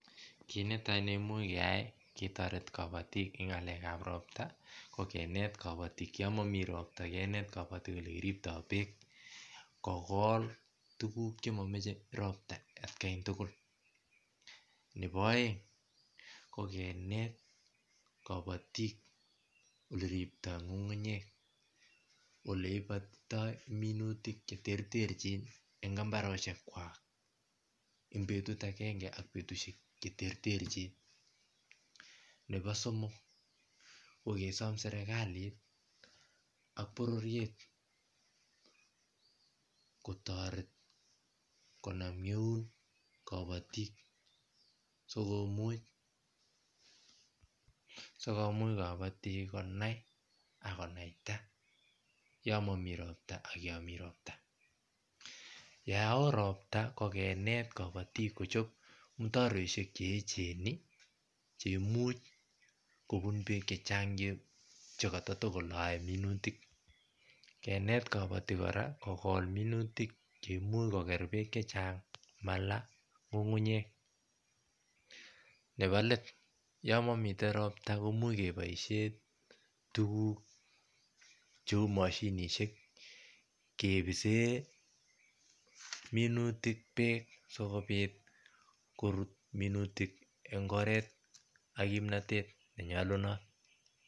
Kitnetai nekimuch keyai ketoret kabotik en ngalekap ropta yon momi ropta Kinet kabotik Yoon momi ropta Kinet kabotik ele kiripto beek kogol tuguk chemomoche rota atkai tugul nepo oeng kokineti kabotik ole riptoi nyung'unyek ole ipotitoi minutik cheterterchin en mbarenikwak en betut agenge ak betushek cheterterchin nepo somok kikesom serkalit ak bororiet kotoret kinam Eun kabotik sikomuch kobotik konai akonaita Yoon momi ropta Yoon oo ropta kokinet kabotik kochop mutaroishek cheecheni cheimuch kobun beek chechang chekotoloe minutik kinet kabotik kora kokol minutik cheimuch koker beek chechang malaa nyung'unyek nebo let Yoon momi ropta komuch keboishen tuguk cheu moshinishek kebisen minutik beek sikopit korut minutik en oret ak kimnotet nenyolunot